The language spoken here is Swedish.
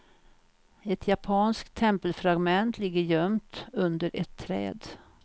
Ett japanskt tempelfragment ligger gömt under ett träd.